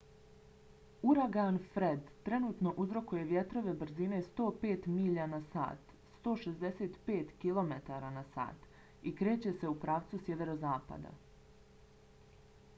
uragan fred trenutno uzrokuje vjetrove brzine 105 milja na sat 165 km/h i kreće se u pravcu sjeverozapada